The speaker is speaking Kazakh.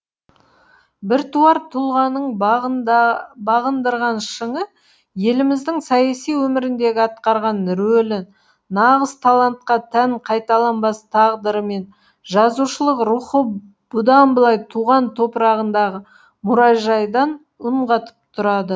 біртуар тұлғаның бағындырған шыңы еліміздің саяси өміріндегі атқарған рөлі нағыз талантқа тән қайталанбас тағдыры мен жазушылық рухы бұдан былай туған топырағындағы мұражайдан үн қатып тұрады